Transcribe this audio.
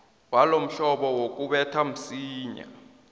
walomhlobo wokubetha msinya